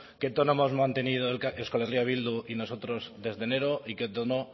qué tono hemos mantenido euskal herria bildu y nosotros desde enero y qué tono